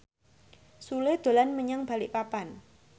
Sule dolan menyang Balikpapan